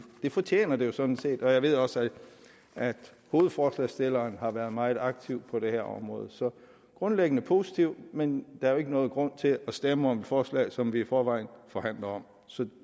fortjener det jo sådan set jeg ved også at hovedforslagsstilleren har været meget aktiv på det her område så grundlæggende positive men der er jo ikke nogen grund til at stemme om et forslag som vi i forvejen forhandler om så